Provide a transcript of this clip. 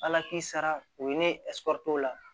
Ala k'i sara o ye nesikɔriso la